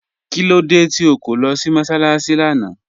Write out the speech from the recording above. Kílódé tí o kọ̀ lọ́ sí mọ́sálaṣì lána?